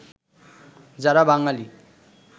যারা বাঙালী